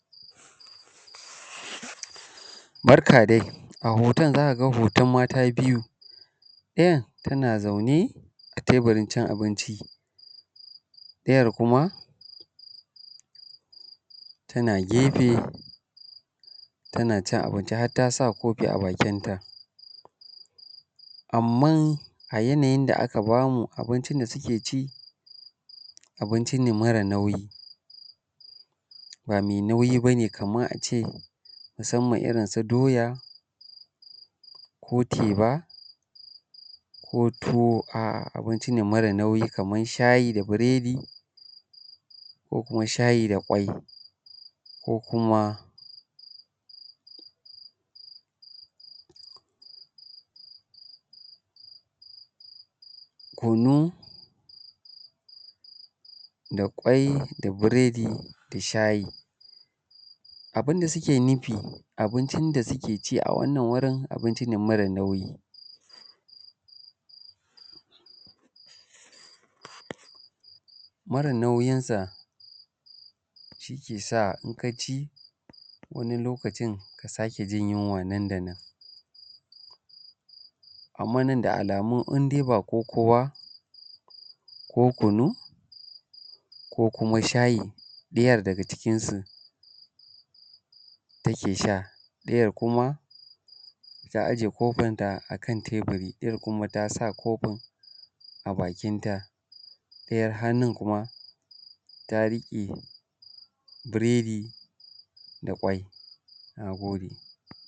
Barka dai a hoton za kaga hoton mata biyu, ɗayan tana zaune tebirin cin abinci, ɗayar kuma tana gefe tana cin abinci har ta sa kofi a bakinta. Amma a yanayin da aka bamu abincin da suke ci, abinci ne mara nauyi ba mai nauyi bane kamar a ce musanman irin su doya, ko teba, ko tuwo a’a abinci ne mara nauyi kamar shayi da biredi, ko kuma shayi da kwai, ko kuma kunu, da kwai, da biredi, da shayi. Abun da suke nufi abincin da suke ci a wannan wurin abinci ne mara nauyi, mara nauyin sa shi ke sa in ka ci wani lokacin ka sake jin yunwa nan da nan. Amma nan da alamun in dai bo koko ba, ko kunu, ko kuma shayi ɗayar daga cikinsu take sha, ɗayar kuma ta aje kofinta a kan teburi, ɗayar kuma ta sa kofin bakinta, ɗayar hannun kuma ta riƙe biredi da ƙwai. Na gode.